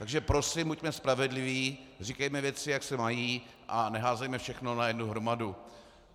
Takže prosím, buďme spravedliví, říkejme věci, jak se mají, a neházejme všechno na jednu hromadu.